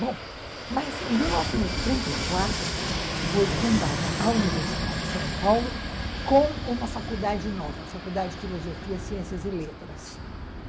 Bom, mas em mil novecentos e trinta e quatro foi fundada a Universidade de São Paulo com uma faculdade nova, a Faculdade de Filosofia, Ciências e Letras.